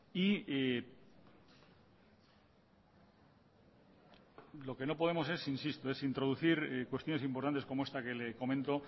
y lo que no podemos es insisto es introducir cuestiones importantes como esta que le comento